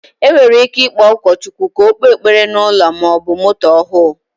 Enwere ike ikpo ụkọ Chukwu ka ọ kpe ekpere na ụlọ maọbụ moto ọhụ